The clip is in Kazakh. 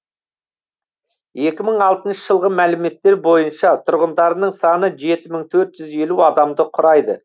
екі мың алтыншы жылғы мәліметтер бойынша тұрғындарының саны жеті мың төрт жүз елу адамды құрайды